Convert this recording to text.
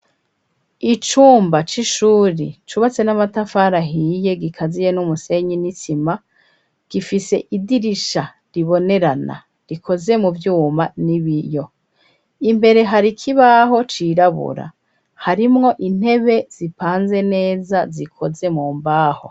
Icumba c'ishuri cubatse n'amatafarahiye gikaziye n'umusenyi n'itsima gifise idirisha ribonerana rikoze mu vyuma ni biyo imbere hari kibaho cirabura harimwo intebe zipanze neza zikoze mu mbaho.